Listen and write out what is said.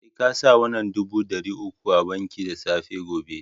Sai ka sa wannan dubu dari uku a banki da safe gobe